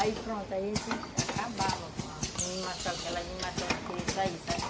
Aí, pronto, a gente acabava com a animação, aquela animação de querer sair, sabe?